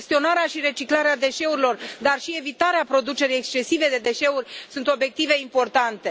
Gestionarea și reciclarea deșeurilor, dar și evitarea producerii excesive de deșeuri sunt obiective importante.